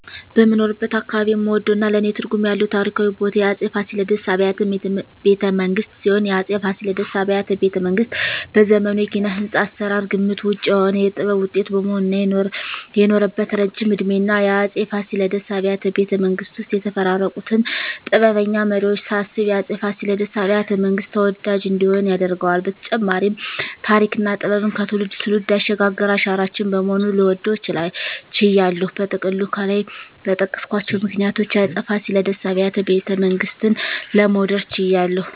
በምኖርበት አካባባቢ የምወደውና ለኔ ትርጉም ያለው ታሪካዊ ቦታ የአፄ ፋሲለደስ አብያተ ቤተመንግስት ሲሆን፣ የአፄ ፋሲለደስ አብያተ ቤተመንግስት በዘመኑ የኪነ-ህንጻ አሰራር ግምት ውጭ የሆነ የጥበብ ውጤት በመሆኑ እና የኖረበት እረጅም እድሜና የአፄ ፋሲለደስ አብያተ ቤተመንግስት ውስጥ የተፈራረቁትን ጥበበኛ መሪወች ሳስብ የአፄ ፋሲለደስ አብያተ- መንግስት ተወዳጅ እንዲሆን ያደርገዋል በተጨማሪም ተሪክና ጥበብን ከትውልድ ትውልድ ያሸጋገረ አሻራችን በመሆኑ ልወደው ችያለሁ። በጥቅሉ ከላይ በጠቀስኳቸው ምክንያቶች የአፄ ፋሲለደስ አብያተ ቤተመንግስትን ለመውደድ ችያለሁ